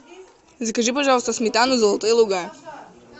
закажи пожалуйста сметану золотые луга